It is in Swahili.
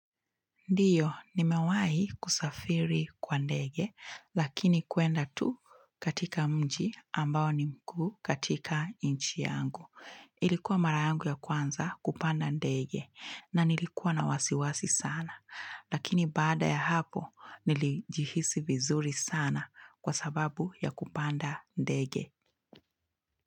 Ndiyo, nimewahii kusafiri kwa ndege, lakini kuenda tu katika mji ambao ni mkuu katika nchi yangu. Ilikuwa mara yangu ya kwanza kupanda ndege na nilikuwa na wasiwasi sana, lakini baada ya hapo nilijihisi vizuri sana kwa sababu ya kupanda ndege.